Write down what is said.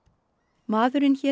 maðurinn hét